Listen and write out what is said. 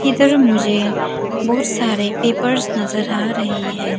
इधर मुझे बहुत सारे पेपर्स नजर आ रहे है।